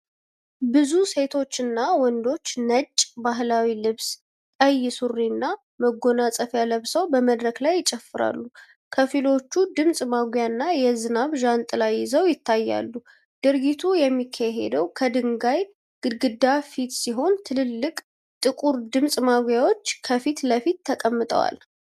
ብዙ ሴቶችና ወንዶች ነጭ ባህላዊ ልብስ፣ ቀይ ሱሪና መጎናጸፊያ ለብሰው በመድረክ ላይ ይጨፍራሉ። ከፊሎቹ ድምፅ ማጉያና የዝናብ ዣንጥላ ይዘው ይታያሉ። ድርጊቱ የሚካሄደው ከድንጋይ ግድግዳ ፊት ሲሆን ትልልቅ ጥቁር ድምጽ ማጉያዎች ከፊት ለፊት ተቀምጠዋል።